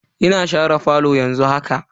Ina share falo yanzu haka.